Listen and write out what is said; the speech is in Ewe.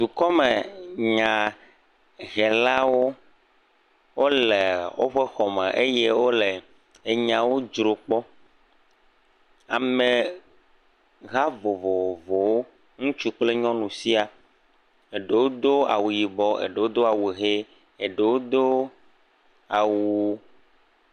dukɔme nya helawo wóle wóƒe xɔ me eye wóle enyawo dzro kpɔ ameha vovovowo ŋutsu kple nyɔnu sia eɖewo dó awu yibɔ eɖewo dó awu hɛ eɖewo dó awu